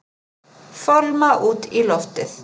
Fálma út í loftið.